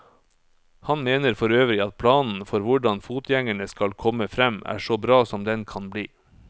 Han mener forøvrig at planen for hvordan fotgjengerne skal komme frem, er så bra som den kan bli.